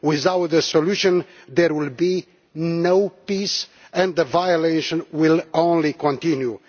without solution there will be no peace and the violations will only continue.